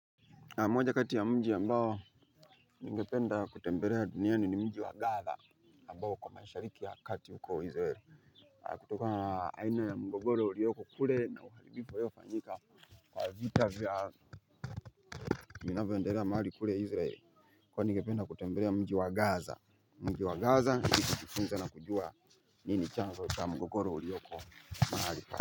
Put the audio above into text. Na moja kati ya mji ambao ningependa kutembelea duniani ni mji wa gaza ambao huko mashariki ya kati huko israel kutokana na haina ya mgogoro ulioko kule na uhalifu uliyofanyika kwa vita vya vinavyoendelea mahali kule israel. Kwani ningependa kutembelea mji wa gaza mji wa gaza ili nijifunze na kujua nini chanzo cha mgogoro ulioko mahali pale.